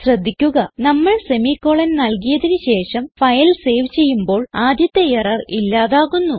ശ്രദ്ധിക്കുക നമ്മൾ സെമിക്കോളൻ നൽകിയതിന് ശേഷം ഫയൽ സേവ് ചെയ്യുമ്പോൾ ആദ്യത്തെ എറർ ഇല്ലാതാകുന്നു